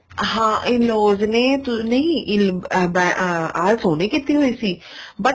ਹਾਂ in laws ਨੇ ਨਹੀਂ ਅਹ IELTS ਉਹਨੇ ਕੀਤੀ ਹੋਈ ਸੀ but